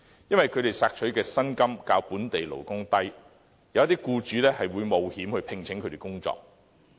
因為他們索取的薪金較本地勞工低，有些僱主會冒險聘請他們工作。